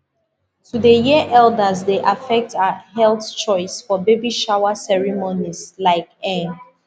to dey hear elders dey affect our health choice for baby shower ceremonies like eh